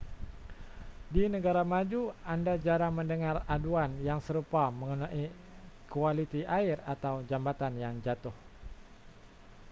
di negara maju anda jarang mendengar aduan yang serupa mengenai kualiti air atau jambatan yang jatuh